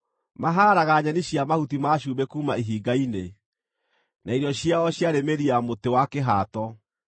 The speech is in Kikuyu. Maahaaraga nyeni cia mahuti ma cumbĩ kuuma ihinga-inĩ, na irio ciao ciarĩ mĩri ya mũtĩ wa kĩhaato.